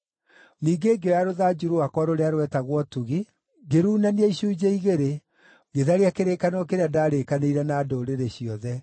Ningĩ ngĩoya rũthanju rwakwa rũrĩa rwetagwo Ũtugi, ngĩruunania icunjĩ igĩrĩ, ngĩtharia kĩrĩkanĩro kĩrĩa ndarĩkanĩire na ndũrĩrĩ ciothe.